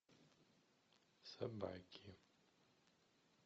собаки